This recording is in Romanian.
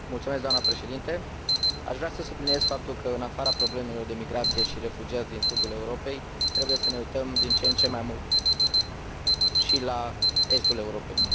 Doamnă Președintă, aș vrea să subliniez faptul că, în afara problemelor de migrație și refugiați din sudul Europei, trebuie să ne uităm din ce în ce mai mult și la estul Europei.